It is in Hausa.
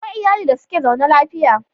Akwai iyali da suke zaune lafiya.